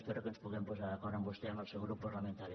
espero que ens puguem posar d’acord amb vostè i amb el seu grup parlamentari